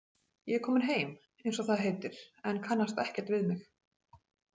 Ég er komin heim, eins og það heitir, en kannast ekkert við mig.